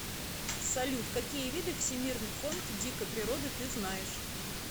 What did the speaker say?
салют какие виды всемирный фонд дикой природы ты знаешь